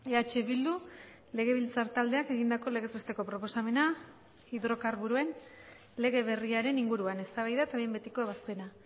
eh bildu legebiltzar taldeak egindako legez besteko proposamena hidrokarburoen lege berriaren inguruan eztabaida eta behin betiko ebazpena